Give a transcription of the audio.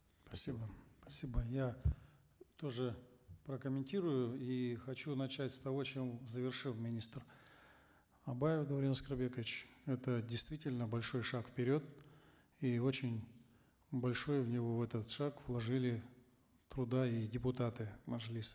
спасибо спасибо я тоже прокомментирую и хочу начать с того чем завершил министр абаев даурен аскарбекович это действительно большой шаг вперед и очень большое в него в этот шаг вложили труда и депутаты мажилиса